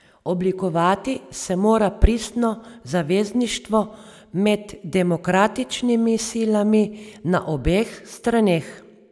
Oblikovati se mora pristno zavezništvo med demokratičnimi silami na obeh straneh.